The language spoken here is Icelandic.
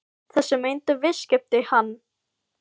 Þessi meintu viðskipti fannst þeim þeir geta tengt hvarfi